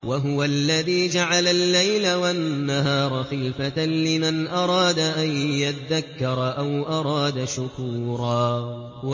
وَهُوَ الَّذِي جَعَلَ اللَّيْلَ وَالنَّهَارَ خِلْفَةً لِّمَنْ أَرَادَ أَن يَذَّكَّرَ أَوْ أَرَادَ شُكُورًا